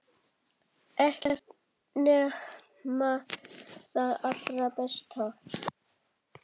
Ekkert nema það allra besta.